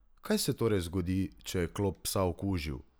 Kaj se torej zgodi, če je klop psa okužil?